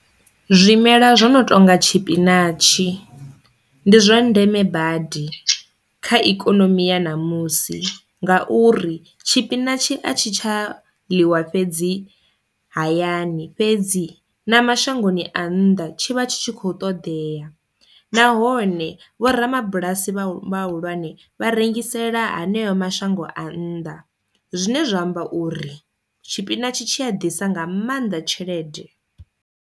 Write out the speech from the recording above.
Zwimela zwo no tonga tshipinatshi ndi zwa ndeme badi kha ikonomi ya ṋamusi ngauri tshipinatshi a tshi tsha ḽiwa fhedzi hayani fhedzi na mashangoni a nnḓa tshi vha tshi kho ṱoḓea nahone vhorabulasi vhahulwane vha rengisela haneyo mashango a nnḓa zwine zwa amba uri tshipinatshi tshi a ḓisa nga maanḓa tshelede.